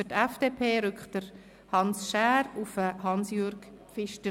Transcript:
Für die FDP folgt Hans Schär auf Hansjörg Pfister.